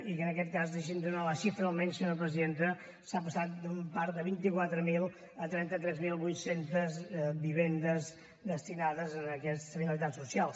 i en aquest cas deixi’m donar ne la xifra almenys senyora presidenta s’ha passat d’un parc de vint quatre mil a trenta tres mil vuit cents vivendes destinades a aquestes finalitats socials